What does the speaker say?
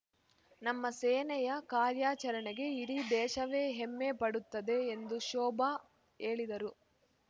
ನಮ್ಮ ಸೇನೆಯ ಕಾರ್ಯಾಚರಣೆಗೆ ಇಡೀ ದೇಶವೇ ಹೆಮ್ಮೆ ಪಡುತ್ತದೆ ಎಂದು ಶೋಭಾ ಹೇಳಿದರು